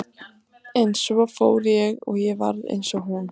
Hitaaukningin er síðan talin fara minnkandi er nær dregur jarðarmiðju.